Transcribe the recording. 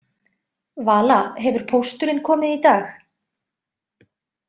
Vala, hefur pósturinn komið í dag?